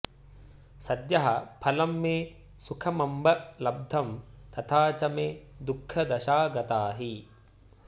सद्यः फलं मे सुखमंब लब्धं तथा च मे दुःखदशा गता हि